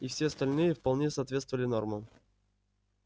и все остальные вполне соответствовали нормам